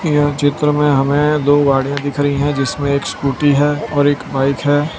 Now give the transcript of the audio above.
यह चित्र में हमें दो गाड़ीयां दिख रही हैं जिसमें एक स्कूटी है और एक बाइक है।